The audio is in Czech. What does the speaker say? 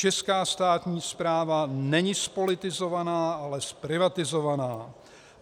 Česká státní správa není zpolitizovaná, ale zprivatizovaná.